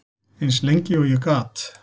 Eins lengi og ég gat.